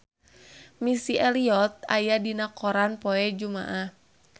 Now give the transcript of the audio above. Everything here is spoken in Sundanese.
Missy Elliott aya dina koran poe Jumaah